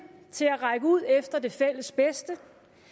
til at række ud efter det fælles bedst